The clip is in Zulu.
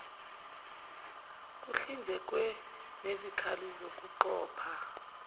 kuhlinzekwe ngezikali zokuqopha